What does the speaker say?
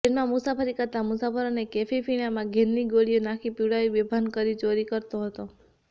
ટ્રેનમાં મુસાફરી કરતા મુસાફરોને કેફી પીણામાં ઘેનની ગોળીઓ નાખી પીવડાવી બેભાન કરી ચોરી કરતો